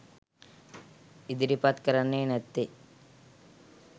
ඉදිරිපත් කරන්නේ නැත්තෙ?